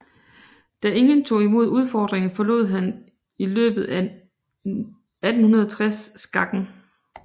Da ingen tog imod udfordringen forlod han i løbet af 1860 skakken